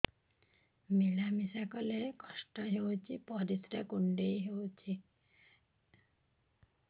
ମିଳା ମିଶା କଲେ କଷ୍ଟ ହେଉଚି ପରିସ୍ରା କୁଣ୍ଡେଇ ହଉଚି